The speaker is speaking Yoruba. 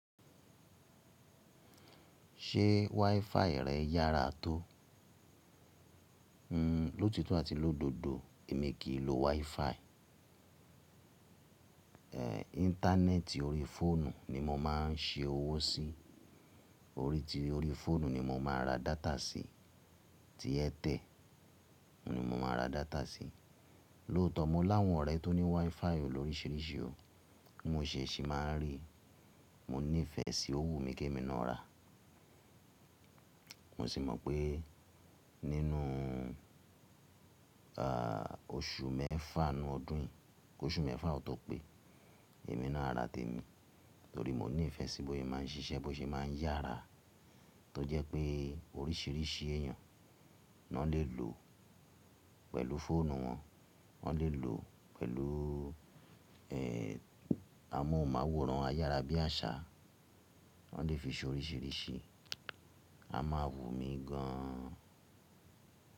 Ṣé WiFi rẹ̀ yára tó? Hmm, lótito àti lódodo èmi kì í lo WiFi. Ehn, Íńtánẹ́ẹ̀tì orí fóònù ni mo máà ń ṣe owó sí. Orí ti orí fóònù ni mo máa n ra data sí, tí airtel. Ni mo máa ra data sí. Lóòtọ́ mo láwọn ọ̀rẹ́ tó ní WiFi loríṣìíríṣìí o, mo ṣèṣì máa ń rí. Mo nífẹ̀ẹ́ sí owú mi kí èmi náà rà. Mo sì mọ̀ pé nínú ehh oṣù mẹ́fà inú ọdún yìí, kóṣù mẹ́fà ọtọ pé, èmi náà a rà tèmi torí mo ní ìfẹ́ sí bósé máà ń ṣiṣẹ́, bósé máà ń yára tó jẹ́ pé oríṣìíríṣìí èèyàn na lè lò pẹ̀lú fóònù wọn, wọn lè lò pẹ̀lú ehn amóhùnmáwòrán, ayára bí àṣá, wọn lè fi ṣe oríṣìíríṣìí. A máa wù mí gan an.